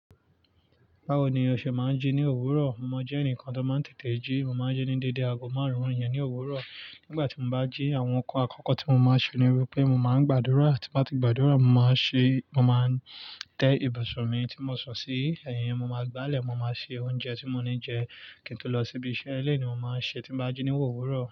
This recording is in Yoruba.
Báwo ni ọṣẹ máa ń jí ní òwúrọ̀? Mo jẹ́ ẹnìkan tó máa ń tètè jí. Mo máa ń jí ní dédé aago márùn-ún ìyẹn ní òwúrọ̀. Nígbà tí mo bá jí, àwọn nǹkan àkọ́kọ́ tí mo máa ṣe ni wípé mo máa ń gbàdúrà. Ti bá ti gbàdúrà, mo máa ṣe-- mo máa tẹ́ ibùsùn mi tí mo sọ sí. Ẹ̀yin, mo máa gbálẹ̀, mo máa ṣe oúnjẹ tí mo ní jẹ. Kí n tó lọ síbi iṣẹ́ eleyi ni mo máa ṣe tí bá jí ní òwúrọ̀.